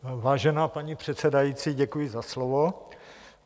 Vážená paní předsedající, děkuji za slovo.